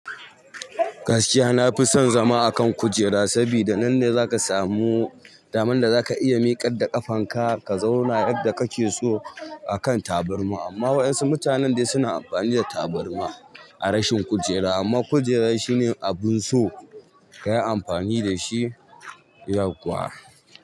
Gaskiya na fi son zama a kan kujera, sabida nan ne za ka samu daman da za ka iya miƙar da ƙafanka ka zauna yadda ka ke so a kan taburma amma waɗansu mutanen dai suna amfani da tabarma a rashin kujera. Amma kujera shi ne abun so ka yi amfani da shi yau kuwa.